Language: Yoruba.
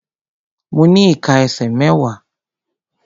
Mo ní ìká ẹsẹ̀ mẹ́wàá.